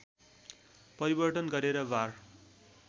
परिवर्तन गरेर वार